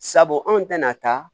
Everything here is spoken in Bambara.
Sabu anw tɛna taa